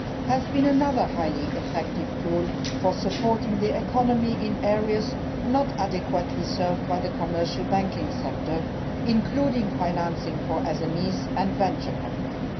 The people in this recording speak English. has been another highly effective tool for supporting the economy in areas not adequately served by the commercial banking sector, including financing for SMEs and venture capital.